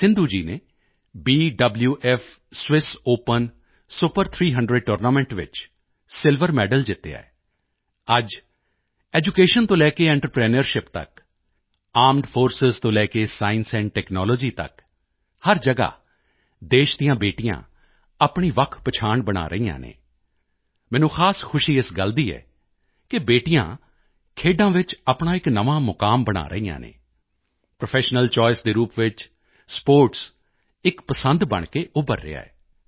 ਸਿੰਧੂ ਜੀ ਨੇ BWF Swiss open super 300 tournament ਵਿੱਚ silver medal ਜਿੱਤਿਆ ਹੈ ਅੱਜ ਐਡੂਕੇਸ਼ਨ ਤੋਂ ਲੈ ਕੇ ਐਂਟਰਪ੍ਰੀਨਿਓਰਸ਼ਿਪ ਤੱਕ ਆਰਮਡ ਫੋਰਸਿਸ ਤੋਂ ਲੈ ਕੇ ਸਾਇੰਸ ਟੈਕਨਾਲੋਜੀ ਤੱਕ ਹਰ ਜਗ੍ਹਾ ਦੇਸ਼ ਦੀਆਂ ਬੇਟੀਆਂ ਆਪਣੀ ਵੱਖ ਪਹਿਚਾਣ ਬਣਾ ਰਹੀਆਂ ਹਨ ਮੈਨੂੰ ਖਾਸ ਖੁਸ਼ੀ ਇਸ ਗੱਲ ਦੀ ਹੈ ਕਿ ਬੇਟੀਆਂ ਖੇਡਾਂ ਵਿੱਚ ਆਪਣਾ ਇਕ ਨਵਾਂ ਮੁਕਾਮ ਬਣਾ ਰਹੀਆਂ ਹਨ ਪ੍ਰੋਫੈਸ਼ਨਲ ਚੋਇਸ ਦੇ ਰੂਪ ਵਿੱਚ ਸਪੋਰਟਸ ਇਕ ਪਸੰਦ ਬਣ ਕੇ ਉੱਭਰ ਰਿਹਾ ਹੈ